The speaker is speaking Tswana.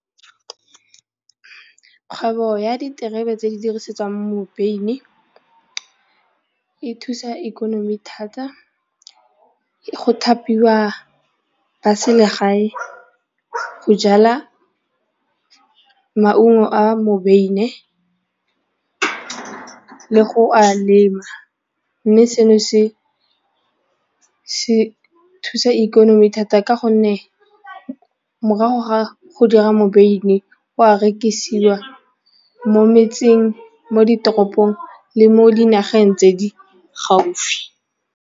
Kgwebo ya diterebe tse di dirisetswang mobeine, e thusa ikonomi thata, go thapiwa ba selegae go jala maungo a mobeine le go a lema mme seno se thusa ikonomi thata ka gonne morago ga go dira mobeine o a rekisiwa mo metseng, mo ditoropong le mo dinageng tse di gaufi.